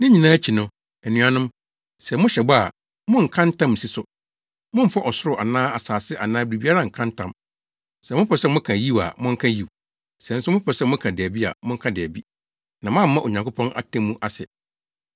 Ne nyinaa akyi no, anuanom, sɛ mohyɛ bɔ a, monnka ntam nsi so. Mommfa ɔsoro anaa asase anaa biribiara nka ntam. Sɛ mopɛ sɛ moka “Yiw” a, monka “Yiw.” Sɛ nso mopɛ sɛ moka “Dabi” a, monka “Dabi” na moamma Onyankopɔn atemmu ase.